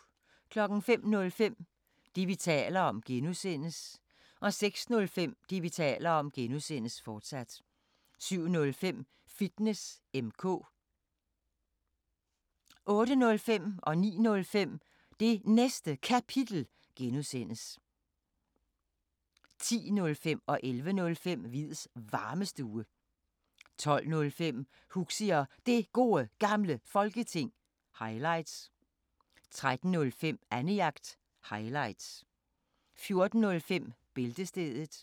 05:05: Det, vi taler om (G) 06:05: Det, vi taler om (G), fortsat 07:05: Fitness M/K 08:05: Det Næste Kapitel (G) 09:05: Det Næste Kapitel (G) 10:05: Hviids Varmestue 11:05: Hviids Varmestue 12:05: Huxi og Det Gode Gamle Folketing – highlights 13:05: Annejagt – highlights 14:05: Bæltestedet